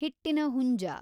ಹಿಟ್ಟಿನ ಹುಂಜ